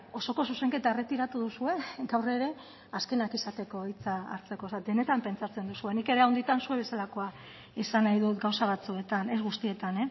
osoko zuzenketa erretiratu duzue gaur ere azkenak izateko hitza hartzeko o sea denetan pentsatzen duzue nik ere handitan zu bezalakoa izan nahi dut gauza batzuetan ez guztietan